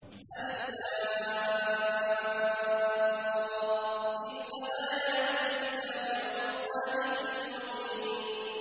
الر ۚ تِلْكَ آيَاتُ الْكِتَابِ وَقُرْآنٍ مُّبِينٍ